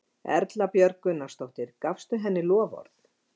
Erla Björg Gunnarsdóttir: Gafstu henni loforð?